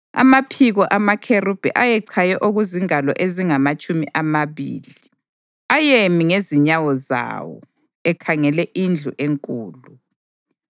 Amaphiko amakherubhi ayechaye okuzingalo ezingamatshumi amabili. Ayemi ngezinyawo zawo, ekhangele indlu enkulu.